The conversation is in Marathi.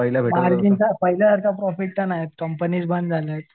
मार्जिन तर पाहिल्यासारखं प्रॉफिट नाहीच कंपनीच बंद झालेली.